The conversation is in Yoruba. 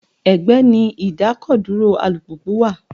Ẹgbẹ́ ni idakoduro alùpùpù wà.